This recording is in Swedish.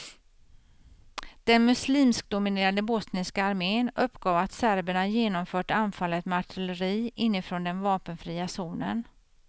Den muslimskdominerade bosniska armén uppgav att serberna genomfört anfallet med artilleri inifrån den vapenfria zonen.